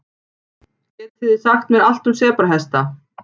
Getið þið sagt mér allt um sebrahesta?